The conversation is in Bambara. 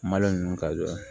Malo ninnu ka jɔ